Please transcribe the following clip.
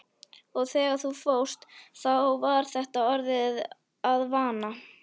Og þegar þú fórst þá var þetta orðið að vana.